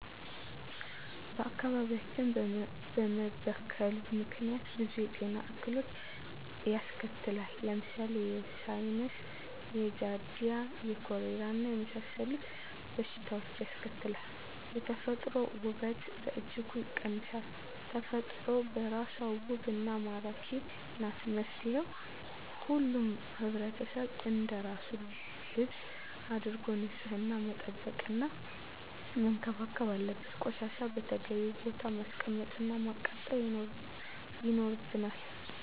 አካባቢያችን በመበከሉ ምክንያት ብዙ የጤና እክሎችን ያስከትላል። ለምሳሌ፦ የሳይነስ፣ የጃረዲያ፣ የኮሌራና የመሣሠሉት በሽታዎችን ያስከትላል። የተፈጥሮ ውበትን በእጅጉ ይቀንሳል። ተፈጥሮ በራሷ ውብና መራኪ ናት። መፍትሔው ሁሉም ሕብረተሰብ አንደራሱ ልብስ አድርጎ ንፅህና መጠበቅና መንከባከብ አለበት። ቆሻሻን በተገቢው ቦታ ማስቀመጥ እና ማቃጠል ይኖርብናል።